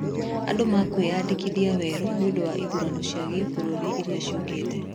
Andũ mekwĩyandĩkithia weru nĩũndũ wa ithurano cia gĩbũrũri iria ciokĩte